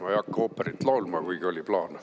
Ma ei hakka ooperit laulma, kuigi oli plaan.